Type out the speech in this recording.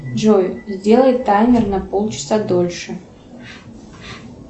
джой сделай таймер на полчаса дольше